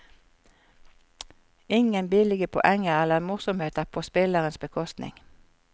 Ingen billige poenger eller morsomheter på spillerens bekostning.